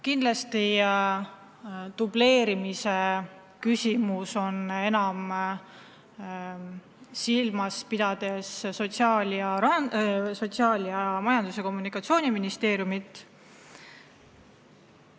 Kindlasti on dubleerimise küsimus põhiliselt Sotsiaalministeeriumis ning Majandus- ja Kommunikatsiooniministeeriumis.